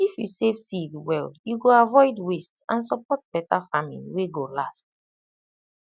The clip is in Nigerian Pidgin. if you save seed well you go avoid waste and support better farming wey go last